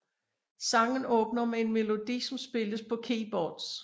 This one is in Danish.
Sangen åbner med en melodi som spilles på keyboards